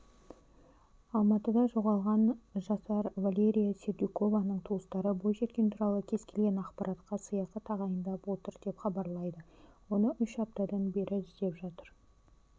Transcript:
алматыда жоғалған жасар валерия сердюкованың туыстары бойжеткен туралы кез-келген ақпаратқа сыйақы тағайындап отыр деп хабарлайды оны үш аптадан бері іздеп жатыр